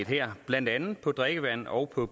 her blandt andet på drikkevandet og og